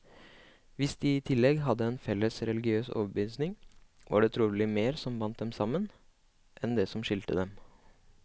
Hvis de i tillegg hadde en felles religiøs overbevisning, var det trolig mer som bandt dem sammen, enn det som skilte dem.